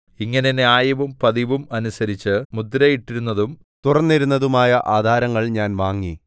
ഇങ്ങനെ ന്യായവും പതിവും അനുസരിച്ച് മുദ്രയിട്ടിരുന്നതും തുറന്നിരുന്നതുമായ ആധാരങ്ങൾ ഞാൻ വാങ്ങി